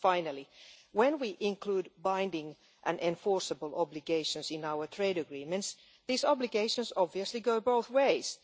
Finally, when we include binding and enforceable obligations in our trade agreements, these obligations obviously go both ways.